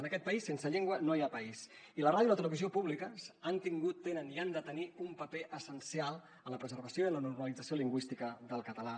en aquest país sense llengua no hi ha país i la ràdio i la televisió públiques han tingut tenen i han de tenir un paper essencial en la preservació i en la normalització lingüística del català